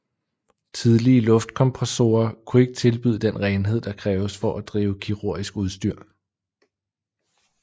Tidlige luftkompressorer kunne ikke tilbyde den renhed der kræves for at drive kirurgisk udstyr